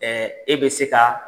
e bɛ se ka